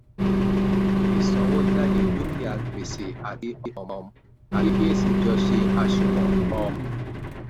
ìsanwójáde dúkìá gbèsè àti um àkíyèsí jọ ṣe àṣùwọ̀n um